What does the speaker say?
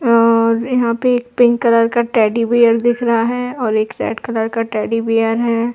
और यहाँ पे एक पिंक कलर का टेडी बियर दिख रहा है और एक रेड कलर का टेडी बियर है।